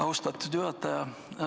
Austatud juhataja!